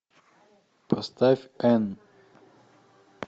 поставь энн